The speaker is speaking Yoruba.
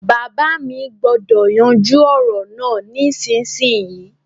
Bàbá mi gbúdọ̀ yanjú ọ̀rọ̀ náà nísinsinyì